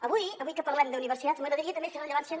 avui avui que parlem d’universitats m’agradaria també fer rellevància